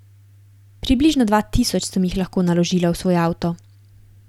Približno dva tisoč sem jih lahko naložila v svoj avto.